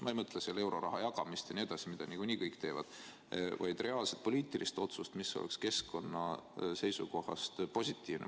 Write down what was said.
Ma ei mõtle euroraha jagamist, seda teevad niikuinii kõik, vaid reaalset poliitilist otsust, mis oleks keskkonna seisukohast positiivne.